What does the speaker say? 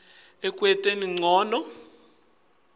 ekwenteni ncono kusebenta